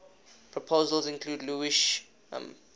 proposals include lewisham